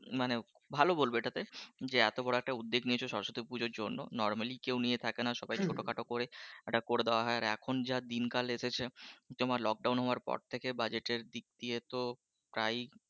মানে ভালো বলবো এটা কে, যে এতো বড় একটা উদ্যোগ নিয়েছো সরস্বতী পূজোর জন্য normal কেউ নিয়ে থাকে না ছোটো খাটো করে একটা করে দেওয়া হয় আর এখন যা দিনকাল এসেছে তোমার লোকও হওয়ার পর থেকে budget এর দিক দিয়ে তো প্রায়ই,